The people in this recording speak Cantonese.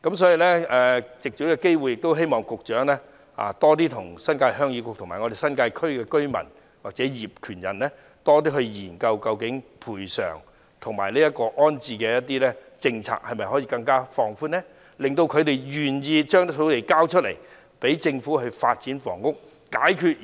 所以，藉此機會希望局長與新界鄉議局及新界區居民或業權人多作研究，如何進一步放寬賠償及安置的政策，令他們願意交出土地予政府發展房屋，解決現時面對"房屋荒"的問題。